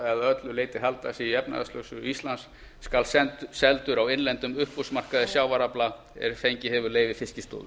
öllu leyti halda sig í efnahagslögsögu íslands skal seldur á innlendum uppboðsmarkaði sjávarafla er fengið hefur leyfi fiskistofu